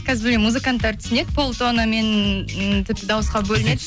қазір мені музыканттар түсінеді пол тонна мен дауысқа бөлінеді